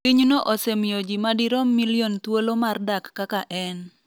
Pinyno osemiyo ji madirom milion thuolo mar dak kaka en